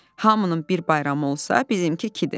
Hamının bir bayramı olsa, bizimki kimidir.